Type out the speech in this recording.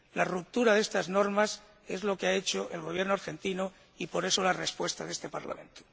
La ruptura de estas normas es lo que ha hecho el Gobierno argentino y de ahí la respuesta de este Parlamento.